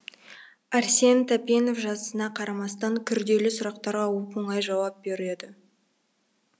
әрсен тәпенов жасына қарамастан күрделі сұрақтарға оп оңай жауап береді